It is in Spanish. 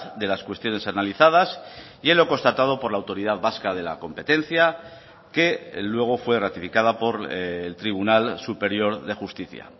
de las cuestiones analizadas y en lo constatado por la autoridad vasca de la competencia que luego fue ratificada por el tribunal superior de justicia